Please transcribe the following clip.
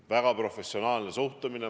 Väga professionaalne suhtumine.